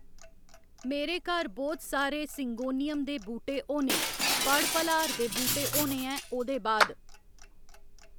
मेरे घर बोह्त सारे सिंगोनियम दे बूह्टे होने पड़ पलाहार दे बूह्टे होने ऐं ओह्दे बाद